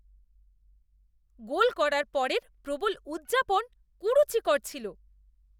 গোল করার পরের প্রবল উদযাপন কুরুচিকর ছিল।